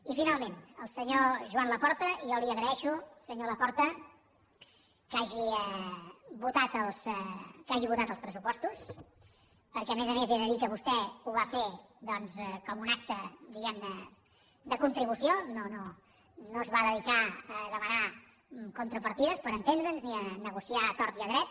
i finalment al senyor joan laporta jo li agraeixo senyor laporta que hagi votat els pressupostos perquè a més a més he de dir que vostè ho va fer doncs com un acte diguem ne de contribució no es va dedicar a demanar contrapartides per entendre’ns ni a negociar a tort i a dret